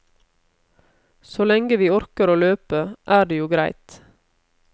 Så lenge vi orker å løpe, er det jo greit.